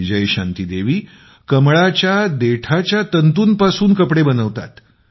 विजयशांती देवी कमळाच्या तंतूंपासून कपडे बनवतात